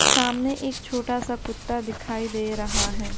सामने एक छोटा सा कुत्ता दिखाई दे रहा है।